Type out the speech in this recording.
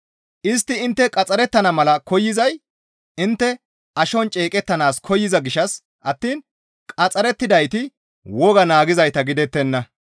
Istti intte qaxxarettana mala koyzay intte ashon ceeqettanaas koyza gishshas attiin qaxxarettidayti wogaa naagizayta gidettenna.